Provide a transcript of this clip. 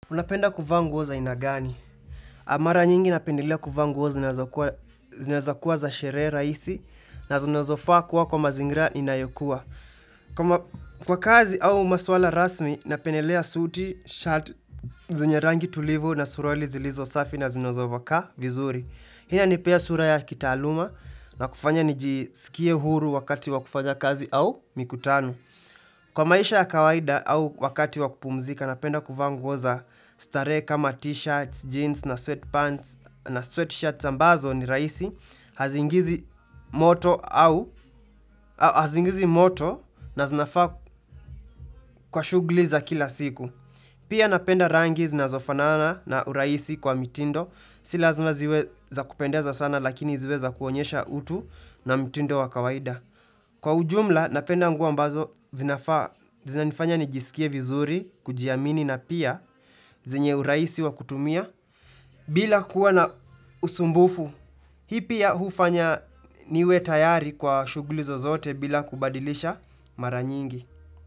Unapenda kuvaa nguo za aina gani. Mara nyingi napendelea kuvaa ngu o za zinazokuwa za sherehe rahisi na zinazofaa kuwa kwa mazingira inayokua. Kwa kazi au maswala rasmi, napendelea suti, shati, zenye rangi tulivu na suruali zilizo safi na zinazovaka vizuri. Hii ina nipea sura ya kitaaluma na kufanya nijisikie huru wakati wakufanya kazi au mikutano. Kwa maisha ya kawaida au wakati wakupumzika, napenda kuvaa nguo za starehe kama t-shirts, jeans na sweatpants na sweatshirts ambazo ni raisi, hazingizi moto na zinafaa kwa shughuli za kila siku. Pia napenda rangi zina zofanana na urahisi kwa mitindo, silazima ziweza kupendeza sana lakini ziweza kuonyesha utu na mitindo wa kawaida. Kwa ujumla napenda nguo mbazo zinafanya nijisikie vizuri, kujiamini na pia zenye urahisi wa kutumia bila kuwa na usumbufu. Hii pia ya hufanya niwe tayari kwa shugulizo zote bila kubadilisha mara nyingi.